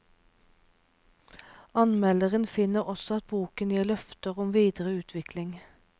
Anmelderen finner også at boken gir løfter om videre utvikling.